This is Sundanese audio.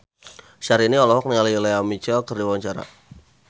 Syahrini olohok ningali Lea Michele keur diwawancara